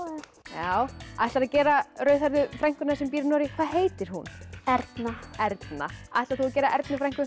já ætlarðu að gera rauðhærðu frænkuna sem býr í Noregi hvað heitir hún Erna Erna ætlar þú að gera Ernu frænku